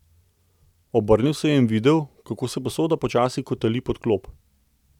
Obrnil se je in videl, kako se posoda počasi kotali pod klop.